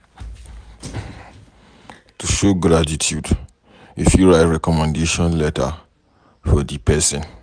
To show gratitude you fit write recommendation letter for di person